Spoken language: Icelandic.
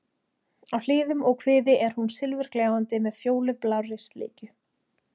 Á hliðum og kviði er hún silfurgljáandi með fjólublárri slikju.